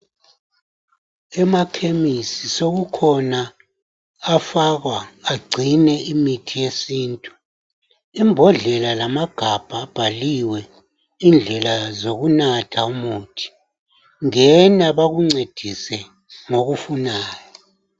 Emakhemisi sokukhona afakwa agcine imithi yesintu imbodlela lamagabha abhaliwe indlela zokunatha umuthi, ngena bakuncedise ngokufunayo.